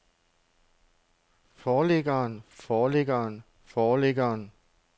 forlæggeren forlæggeren forlæggeren